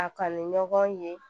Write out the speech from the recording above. A kani ɲɔgɔn ye